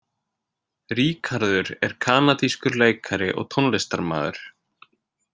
Ríkharður er kanadískur leikari og tónlistarmaður.